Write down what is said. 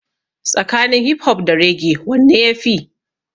Tsakanin hip hop da raggae wanne ya fi?